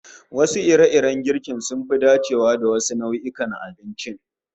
Wasu ire-iren girkin sun fi dacewa da wasu nau'o'in abincin